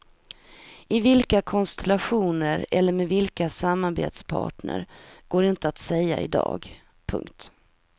I vilka konstellationer eller med vilka samarbetspartner går inte att säga i dag. punkt